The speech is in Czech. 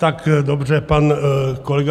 Tak dobře, pan kolega